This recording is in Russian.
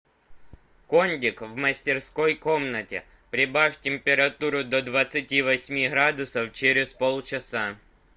кондик в мастерской комнате прибавь температуру до двадцати восьми градусов через полчаса